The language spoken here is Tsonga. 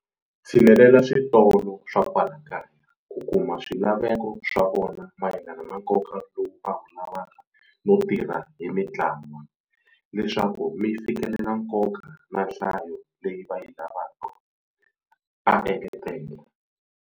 Tshinelela switolo swa kwala kaya ku kuma swilaveko swa vona mayelana na nkoka lowu va wu lavaka no tirha hi mitla wa leswaku mi fikelela nkoka na nhlayo leyi va yi lavaka, a engetela.